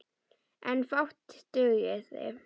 En fátt dugði.